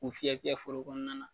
K'u fiyɛ fiyɛ forow kɔnɔna na.